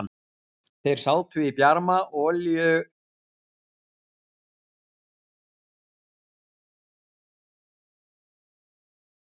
Þeir sátu í bjarma olíuluktarinnar og dreyptu annað slagið á kvöldkaffinu.